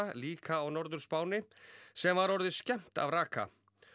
líka á Norður Spáni sem var orðið skemmt af raka